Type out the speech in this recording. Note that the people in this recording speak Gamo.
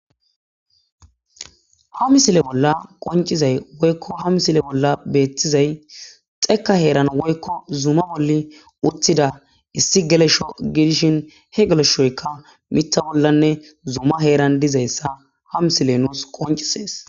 ha misile bolla qoncizay woykko ha misile bolla beettizay xeeka heeran woykko zuma bolli uttida issi gelesho gidishin he geleshoykka mita bollanne zuma heeran dizayssa ha misile nuus qoncisees